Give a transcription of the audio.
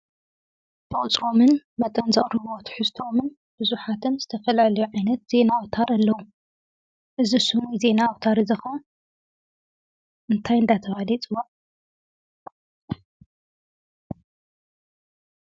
ብቁፅሮምን መጠን ዘቕርብ ዎ ትሕዝተኦምን ብዙሓትን ዝተፈላለዮ ዓይነት ዜና ኣውታር ኣለዉ፡፡ እዚ ስሙ ናይ ዜና ኣውታር እዚ ኸ እንታይ እንዳ ተባህለ ይፍለጥ?